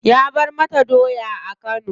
Ya bar mata daya a kano.